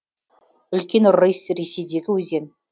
үлкен рысь ресейдегі өзен